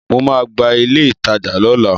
Mo ma gba ilé ìtajà lọ́la.